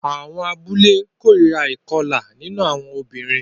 Àwọn abúlé kórìíra ìkọlà nínú àwọn obìnrin